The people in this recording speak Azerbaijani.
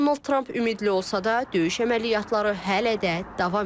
Donald Tramp ümidli olsa da, döyüş əməliyyatları hələ də davam edir.